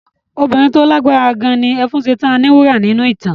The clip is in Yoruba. Obìnrin tí ó lágbára gan ni Ẹfúnṣetán Aníwúrà nínú ìtàn.